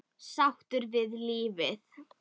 Sáttur við lífið.